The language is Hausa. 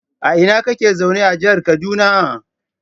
A ina kake zaune a jihar kaduna?